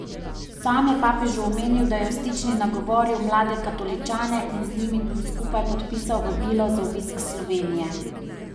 Sam je papežu omenil, da je v Stični nagovoril mlade katoličane in z njimi skupaj podpisal vabilo za obisk Slovenije.